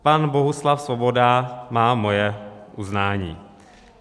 Pan Bohuslav Svoboda má moje uznání.